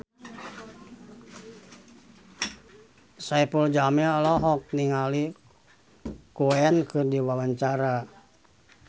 Saipul Jamil olohok ningali Queen keur diwawancara